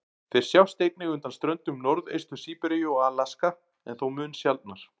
Þeir sjást einnig undan ströndum Norðaustur-Síberíu og Alaska, en þó mun sjaldnar.